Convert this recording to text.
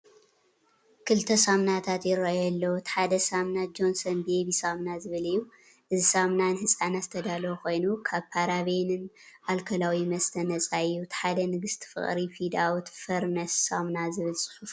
ክልተ ሳሙናታት ይራኣዩ ኣለዉ። እቲ ሓደ ሳሙና “ጆንሶን ቤቢ ሳምና” ዝብል እዩ። እዚ ሳሙና ንህጻናት ዝተዳለወ ኮይኑ ካብ ፓራቤንን ኣልኮላዊ መስተ ነጻ እዩ። እቲ ሓደ “ንግስቲ ፍቕሪ ፌድ ኣውት ፌርነስ ሳሙና” ዝብል ጽሑፍ ኣለዎ።